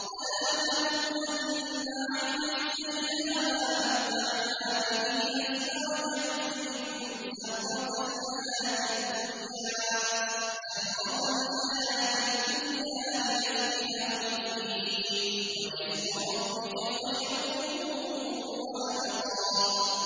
وَلَا تَمُدَّنَّ عَيْنَيْكَ إِلَىٰ مَا مَتَّعْنَا بِهِ أَزْوَاجًا مِّنْهُمْ زَهْرَةَ الْحَيَاةِ الدُّنْيَا لِنَفْتِنَهُمْ فِيهِ ۚ وَرِزْقُ رَبِّكَ خَيْرٌ وَأَبْقَىٰ